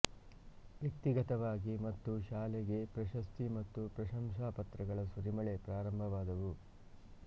ವ್ಯಕ್ತಿಗತವಾಗಿ ಮತ್ತು ಶಾಲೆಗೆ ಪ್ರಶಸ್ತಿ ಮತ್ತು ಪ್ರಶಂಸಾ ಪತ್ರಗಳ ಸುರಿಮಳೆ ಪ್ರಾರಂಭವಾದವು